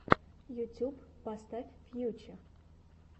ютуб поставь фьюче